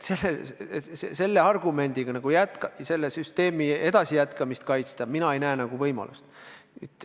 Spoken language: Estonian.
Selle argumendiga vana süsteemi jätkamist kaitsta – mina nagu ei näe võimalust.